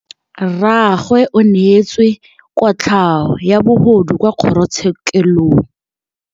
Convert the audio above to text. Rragwe o neetswe kotlhaô ya bogodu kwa kgoro tshêkêlông.